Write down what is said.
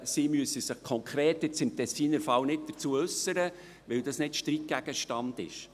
Sie müssen sich – konkret im Tessiner Fall – nicht dazu äussern, weil dies nicht Streitgegenstand ist.